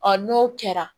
Ɔ n'o kɛra